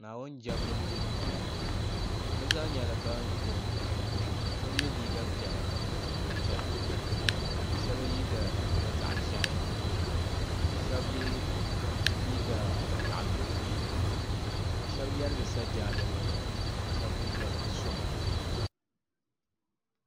Naawuni jɛmbu duu bɛ zaa nyɛla ban kurum shɛb yɛ liiga piɛla ka pili zupil piɛla ka shɛb yɛ liiga zahi ʒɛhi ka shɛb yɛ liiga zaɣ dɔzim shɛb yɛrigi sajaadanima ka shɛb mi yɛrigi sɔna